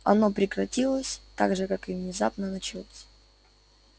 оно прекратилось так же как и внезапно началось